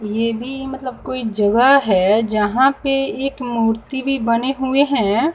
ये भी मतलब कोई जगह है यहां पे एक मूर्ति भी बने हुए हैं।